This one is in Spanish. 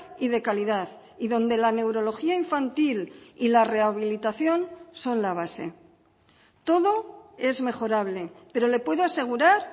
y de calidad y donde la neurología infantil y la rehabilitación son la base todo es mejorable pero le puedo asegurar